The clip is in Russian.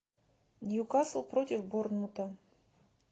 ньюкасл против борнмута